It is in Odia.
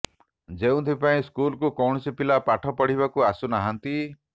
ଯେଉଁଥିପାଇଁ ସ୍କୁଲକୁ କୌଣସି ପିଲା ପାଠ ପଢ଼ିବାକୁ ଆସୁ ନାହାନ୍ତି